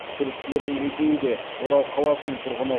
күдіктілердің екеуі де орал қаласының тұрғыны